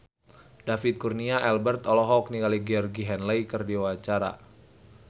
David Kurnia Albert olohok ningali Georgie Henley keur diwawancara